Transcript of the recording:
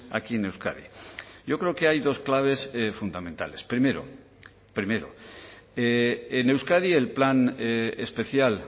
aquí en euskadi yo creo que hay dos claves fundamentales primero primero en euskadi el plan especial